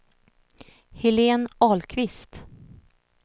Helene Ahlqvist